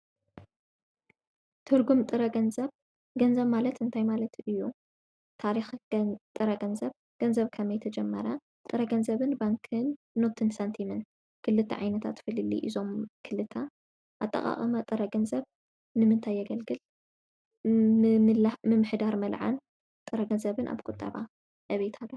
ትርጕም ጥረ ገንዘብ ገንዘብ ማለት እንታይ ማለት እዩ? ታሪኽ ጥረ ገንዘብ ገንዘብ ከመይ ተጀመራ ጥረ ገንዘብን ባንክን ኖትን ሳንቲምን ክልተ ዓይነታት ፍልሊ ኢዞም ክልተ ኣጠቓቐመ ጥረ ገንዘብ ንምንታይ የገልግል? ምምሕዳር መልዓን ጥረ ገንዘብን ኣብ ቁጠባ ዕቤት ኣለዎ።